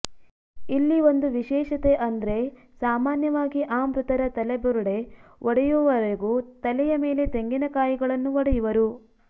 ಇಲ್ಲಿ ಒಂದು ವಿಶೇಷತೆ ಅಂದ್ರೆ ಸಾಮಾನ್ಯವಾಗಿ ಆ ಮೃತರ ತಲೆಬುರುಡೆ ಒಡೆಯುವವರೆಗೂ ತಲೆಯ ಮೇಲೆ ತೆಂಗಿನಕಾಯಿಗಳನ್ನು ಒಡೆಯುವರು